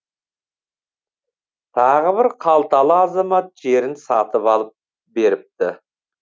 тағы бір қалталы азамат жерін сатып алып беріпті